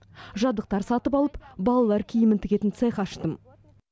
жабдықтар сатып алып балалар киімін тігетін цех аштым